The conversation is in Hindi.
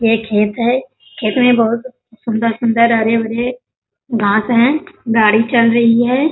ये खेत है खेत में बहुत सुन्दर-सुन्दर हरे-भरे घांस है गाड़ी चल रही है।